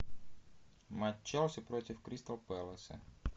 матч челси против кристал пэласа